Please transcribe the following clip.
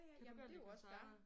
Kan du godt lide koncerter?